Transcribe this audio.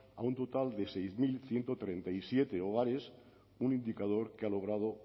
a un total de seis mil ciento treinta y siete hogares un indicador que ha logrado